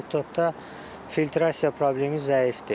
TikTokda filtrasiya problemi zəifdir.